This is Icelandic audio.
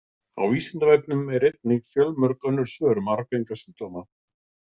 Á Vísindavefnum eru einnig fjölmörg önnur svör um arfgenga sjúkdóma.